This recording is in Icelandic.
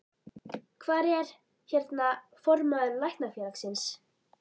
Hvar er, hérna, formaður Læknafélagsins?